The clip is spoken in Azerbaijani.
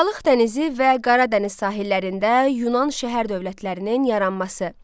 Aralıq dənizi və Qara dəniz sahillərində Yunan şəhər dövlətlərinin yaranması.